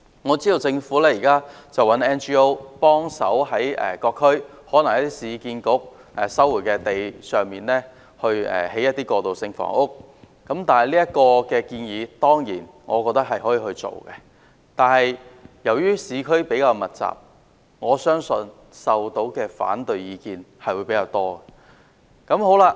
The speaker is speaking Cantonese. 我知道政府現在希望 NGO 協助在各區例如是市區重建局收回的土地上提供過渡性房屋，我認為當然可以落實這項建議，但由於市區人口比較密集，我相信收到的反對意見會較多。